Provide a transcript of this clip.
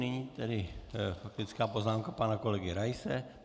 Nyní tedy faktická poznámka pana kolegy Raise.